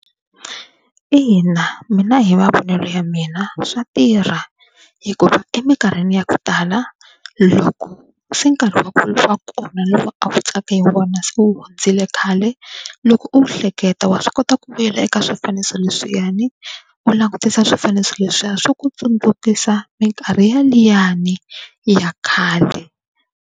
Ina mina hi mavonele ya mina swa tirha hikuva eminkarhini ya ku tala loko se nkarhi wa kona lowu a ku tsakiwa hi wona se wu hundzile khale, loko u wu hleketa wa swi kota ku vuyela eka swifaniso leswiyani u langutisa swifaniso leswiya swo ku tsundzukisa minkarhi ya liyani ya khale.